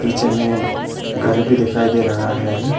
पीछे में घर भी दिखाई दे रहा है।